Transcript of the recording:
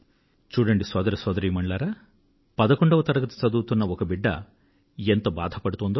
చూడండి సోదర సోదరీమణులారా పదకొండవ తరగతి చదువుతున్న ఒక బిడ్డ ఎంత బాధపడుతోందో